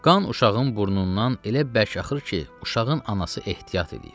Qan uşağın burnundan elə bək axır ki, uşağın anası ehtiyat eləyir.